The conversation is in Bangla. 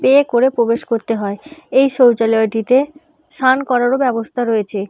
পে করে প্রবেশ করতে হয় । এই শৌচালয়টিতে স্নান করারও ব্যবস্থা রয়েছে ।